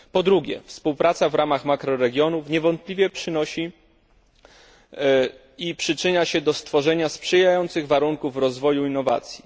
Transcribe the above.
Po drugie, współpraca w ramach makroregionu niewątpliwie przynosi i przyczynia się do stworzenia sprzyjających warunków rozwoju innowacji.